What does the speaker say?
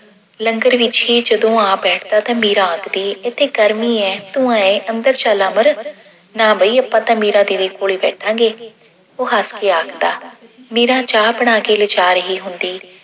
ਲੰਗਰ ਵਿੱਚ ਹੀ ਜਦੋਂ ਆ ਬੈਠਦਾ ਤਾਂ ਮੀਰਾ ਆਖਦੀ ਏਥੇ ਗਰਮੀ ਐ ਤੂੰ ਆਏ ਅੰਦਰ ਚੱਲ ਵੜ। ਨਾ ਬਈ ਆਪਾਂ ਤਾਂ ਮੀਰਾ ਦੀਦੀ ਕੋਲ ਹੀ ਬੈਠਾਂਗੇ ਉਹ ਹੱਸ ਕੇ ਆਖਦਾ। ਮੀਰਾ ਚਾਹ ਬਣਾ ਕੇ ਲਿਜਾ ਰਹੀ ਹੁੰਦੀ